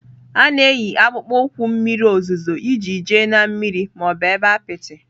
A na-eyi akpụkpọ ụkwụ mmiri ozuzo iji jee ije na mmiri ma ọ bụ ebe apịtị.